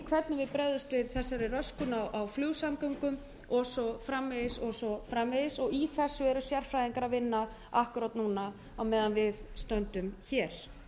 hvernig við bregðumst við þessari röskun á flugsamgöngum og svo framvegis og svo framvegis í þessu eru sérfræðingar að vinna akkúrat núna á meðan við stöndum hér